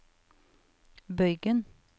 bøygen